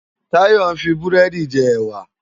Tayo n fi búrèdi jè èwá